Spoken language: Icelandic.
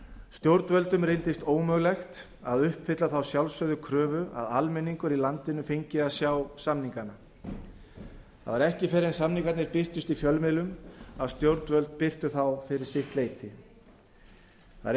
stjórnvöldum reyndist ómögulegt að uppfylla þá sjálfsögðu kröfu að almenningur í landinu fengi að sjá samningana það var ekki fyrr en samningarnir birtust í fjölmiðlum að stjórnvöld birtu þá fyrir sitt leyti það er